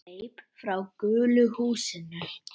Hleyp frá gulu húsinu.